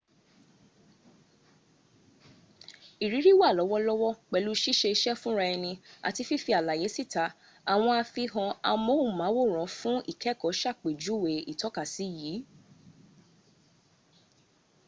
ìrírí wa lọ́wọ́lọ́wọ́ pélù sísẹsé fúnraeni àti fífi àlàyé síta àwọn àfihàn amóhùnmáwòrán fún ìkẹ́ẹ́kọ́ sàpèjúwẹ ìtọ́kasí yìí